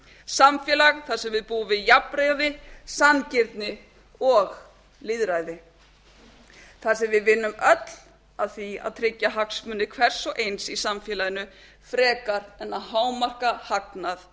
samfélag þar sem við búum við jafnræði sanngirni og lýðræði þar sem við vinnum öll að því að tryggja hagsmuni hvers og eins í samfélaginu frekar en að hámarka hagnað